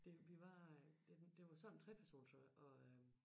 Det vi var øh det det var sådan en 3-persons og og øh